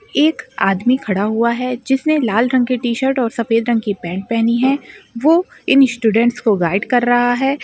एक आदमी खड़ा हुआ है जिसने लाल रंग क टीशर्ट और सफ़ेद रंग की पैंट पहनी है वो इन स्टूडेंट्स को गाइड कर रहा है।